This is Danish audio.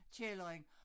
Kælderen